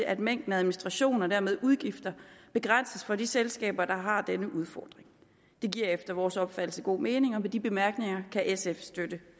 at mængden af administration og dermed udgifter begrænses for de selskaber der har denne udfordring det giver efter vores opfattelse god mening og med de bemærkninger kan sf støtte